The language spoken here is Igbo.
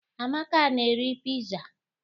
Amaka na-eri piza.